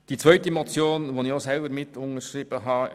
Zur zweiten Motion, die ich selber mitunterzeichnet habe: